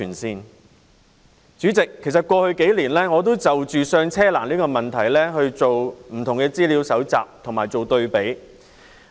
代理主席，過去數年，我就"上車"難的問題進行了不同的資料搜集及對比。